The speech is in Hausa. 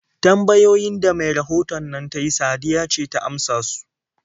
Tambayoyin da mai rahoton nan ta yi Sadiya ce ta amsa su.